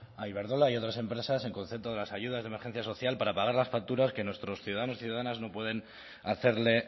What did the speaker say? a iberdrola y a otras empresas en concepto de las ayudas de emergencia social para pagar las facturas que nuestros ciudadanos y ciudadanas no pueden hacerle